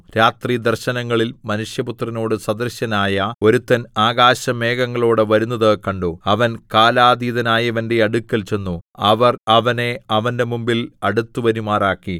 രാത്രി ദർശനങ്ങളിൽ മനുഷ്യപുത്രനോടു സദൃശനായ ഒരുത്തൻ ആകാശമേഘങ്ങളോടെ വരുന്നത് കണ്ടു അവൻ കാലാതീതനായവന്‍റെ അടുക്കൽ ചെന്നു അവർ അവനെ അവന്റെ മുമ്പിൽ അടുത്തുവരുമാറാക്കി